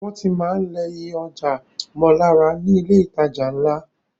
Wọ́n tí máa ń lẹ iye ọjà mọ́ lára ní ilé ìtajà ńlá.